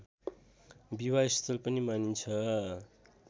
विवाहस्थल पनि मानिन्छ